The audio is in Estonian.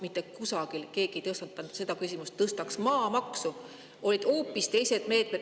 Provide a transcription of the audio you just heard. Mitte kusagil ei tõstatanud keegi seda, et tõstaks maamaksu.